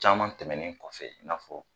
Caman tɛmɛnen kɔfɛ i n'afɔ